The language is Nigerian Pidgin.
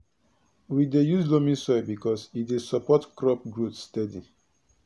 we dey use loamy soil because e dey support crop growth steady